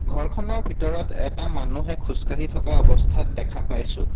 ঘৰখনৰ ভিতৰত এটা মানুহে খোজকাঢ়ি থকা অৱস্থাত দেখা পাইছোঁ।